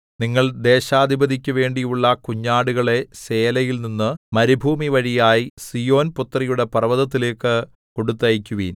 നിങ്ങൾ ദേശാധിപതിക്കു വേണ്ടിയുള്ള കുഞ്ഞാടുകളെ സേലയിൽനിന്നു മരുഭൂമിവഴിയായി സീയോൻപുത്രിയുടെ പർവ്വതത്തിലേക്കു കൊടുത്തയയ്ക്കുവിൻ